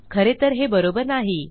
खरे तर हे बरोबर नाही